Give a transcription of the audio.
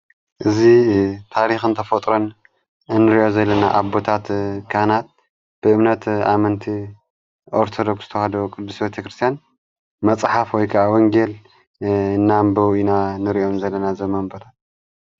እዙ ታሪኽን ተፈጥሮን እንርዮ ዘለና ኣቦታት ካህናት ብእምነት ኣመንቲ ኦርተዶክስ ተውሃዶ ቅዱስ ቤተ ክርስቲያን መጽሓፍ ወይከ ወንጌል እናንበው ኢና ንርእዮም ዘለና ዘመንበረን።